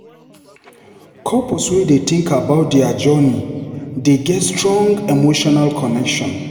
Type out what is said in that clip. Couples wey dey think about dier journey, dey get strong emotional connection.